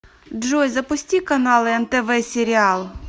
джой запусти каналы нтв сериал